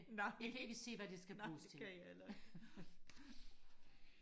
nej nej det kan jeg heller ikke